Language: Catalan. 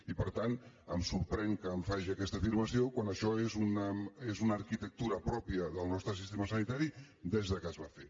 i per tant em sorprèn que em faci aquesta afirmació quan això és una arquitectura pròpia del nostre sistema sanitari des que es va fer